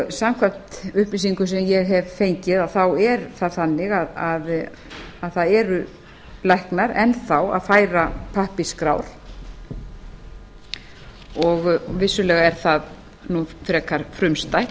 samkvæmt upplýsingum sem ég hef fengið er það þannig að það eru læknar enn þá að færa pappírsskrár og vissulega er það nú frekar frumstætt